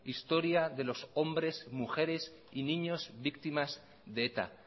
historia de los hombres mujeres y niños víctimas de eta